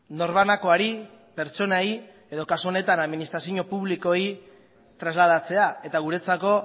norbanakoari pertsonei edo kasu honetan administrazio publikoei trasladatzea eta guretzako